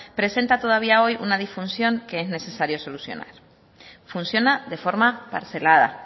presenta todavía hoy una disfunción que es necesario solucionar funciona de forma parcelada